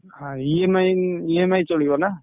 ହଁ EMI, EMI ଚଳିବ ନା?